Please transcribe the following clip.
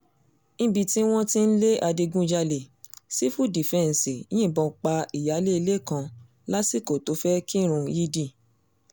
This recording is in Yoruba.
nbi tí wọ́n ti ń lé adigunjalè sífù dífẹ́ǹsì yìnbọn pa ìyáálé ilé kan lásìkò tó fẹ́ẹ̀ kírun yídì